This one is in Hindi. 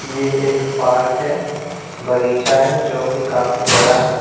ये एक पार्क है बगीचा है जो की काफी बड़ा है।